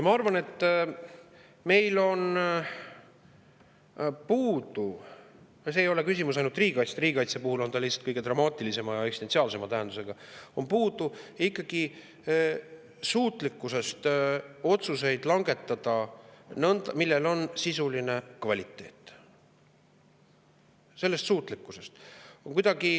Ma arvan, et meil on puudu – see ei ole küsimus ainult riigikaitsest, riigikaitse puhul on see lihtsalt kõige dramaatilisema ja eksistentsiaalsema tähendusega – ikkagi suutlikkusest langetada otsuseid, millel on sisuline kvaliteet.